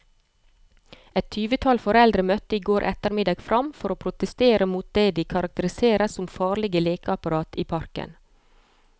Et tyvetall foreldre møtte i går ettermiddag frem for å protestere mot det de karakteriserer som farlige lekeapparater i parken.